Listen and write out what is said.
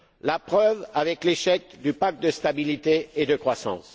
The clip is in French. La preuve en est l'échec du pacte de stabilité et de croissance.